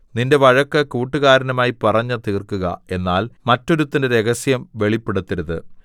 നിന്റെ വഴക്ക് കൂട്ടുകാരനുമായി പറഞ്ഞു തീർക്കുക എന്നാൽ മറ്റൊരുത്തന്റെ രഹസ്യം വെളിപ്പെടുത്തരുത്